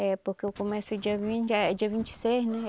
É porque eu começo dia vin di dia vinte e seis, né?